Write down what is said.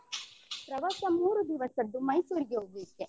ಪ್ರವಾಸ ಮೂರು ದಿವಸದ್ದು ಮೈಸೂರಿಗೆ ಹೋಗ್ಲಿಕ್ಕೆ.